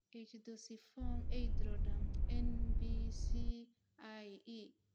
Ichthyosiform erythroderma (NBCIE).